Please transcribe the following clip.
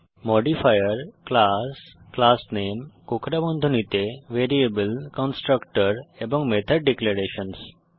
modifier class class name কোঁকড়া বন্ধনীতে variable constructor এবং মেথড ডিক্লেরেশনসহ